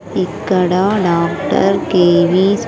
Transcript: ఇక్కడ doctor K V స్--